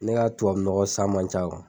Ne ka tubabu nɔgɔ san man ca